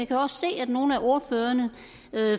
kan også se at nogle af ordførerne